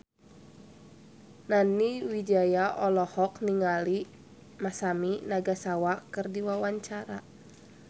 Nani Wijaya olohok ningali Masami Nagasawa keur diwawancara